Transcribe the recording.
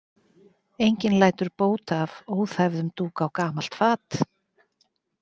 Enginn lætur bót af óþæfðum dúk á gamalt fat.